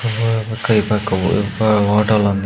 ఆ పక్క ఈ పక్క పోదు ఆటోలన్నీ.